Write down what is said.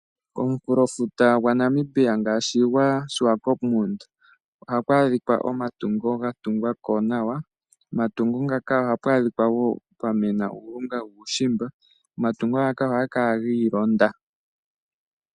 Omunkulofuta gwa Namibia ngaashi gwa Shiwakopo ohaku adhika omatungo ga tungwapo nawa . Pomatungo ngaka ogapu adhika pwamena uulunga wuushimba . Omatungo ngaka ohaga kala gi ilonda